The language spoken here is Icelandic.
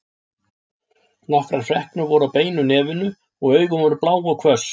Nokkrar freknur voru á beinu nefinu og augun voru blá og hvöss.